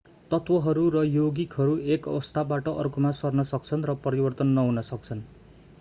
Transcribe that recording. तत्वहरू र यौगिकहरू एक अवस्थाबाट अर्कोमा सर्न सक्छन् र परिवर्तन नहुन सक्छन्